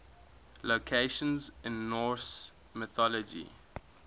locations in norse mythology